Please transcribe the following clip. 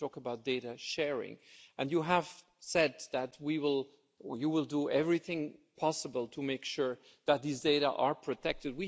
If we talk about data sharing and you have said that you will do everything possible to make sure that these data are protected